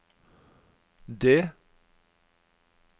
D